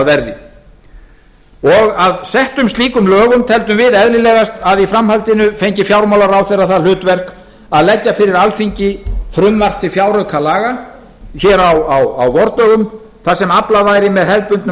verði og að settum slíkum lögum teldum við eðlilegast að í framhaldinu fengi fjármálaráðherra það hlutverk að leggja fyrir alþingi frumvarp til fjáraukalaga hér á vordögum þar sem aflað væri með hefðbundnum